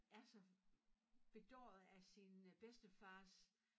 Er så bedåret af sin øh bedstefars